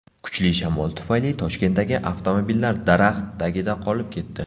Kuchli shamol tufayli Toshkentdagi avtomobillar daraxt tagida qolib ketdi .